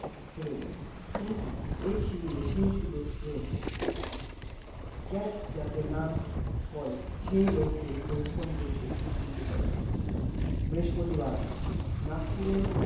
ফেলে যায়ে, কিন্তু এই শিবিরে সেই সুযোগ রয়েছে, catch যাতে না পড়ে, সেই লক্ষে পরিশ্রম করছে cricketer রা বৃস্পতিবার, নাগপুরে